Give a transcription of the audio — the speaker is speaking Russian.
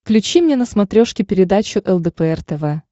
включи мне на смотрешке передачу лдпр тв